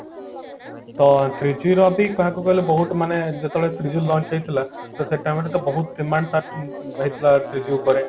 ତ three G ର ବି କହିବାକୁଇ ଗଲେ ବହୁତ ମାନେ ଯେତେବେଳେ three G launch ହେଇଥିଲା ତ ସେତେବେଳେ ତ ବହୁତ demand ତାର ରହିଥିଲା three G ଉପରେ